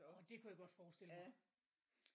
Orh det kunne jeg godt forestille mig